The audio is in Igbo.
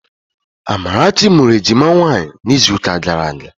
Amarachi mụrụ ejima nwaanyị n'izuụka gara aga